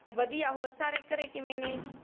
ਬਦਿਆ ਔਰ ਸਾਰੇ ਘਰੇ ਕਿਵੇਂ ਨੇ